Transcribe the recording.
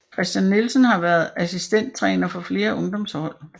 Christian Nielsen har været assistenttræner for flere ungdomshold